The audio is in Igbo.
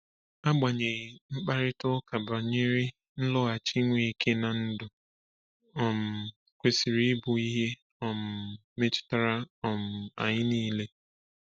Agbanyeghị, mkparịta ụka banyere nloghachi Nweke n’ndụ um kwesịrị ịbụ ihe um metụtara um anyị niile.